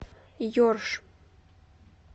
ерш